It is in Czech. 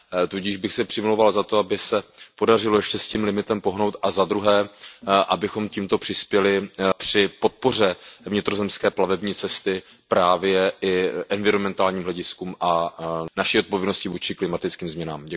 Tudíž bych se přimlouval za to, aby se podařilo ještě s tím limitem pohnout, a za druhé, abychom tímto přispěli při podpoře vnitrozemské plavební cesty právě i k environmentálním hlediskům a naší odpovědnosti vůči klimatickým změnám.